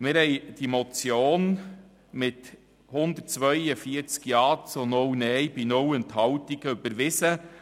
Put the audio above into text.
» Wir hatten diese Motion mit 142 Ja- zu 0 Nein-Stimmen bei 0 Enthaltungen überwiesen.